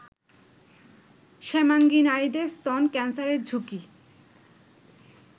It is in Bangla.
শ্যামাঙ্গী নারীদের স্তন ক্যান্সারের ঝুঁকি